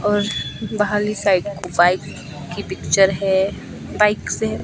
और बाहर ली साइड बाइक की पिक्चर है बाइक है।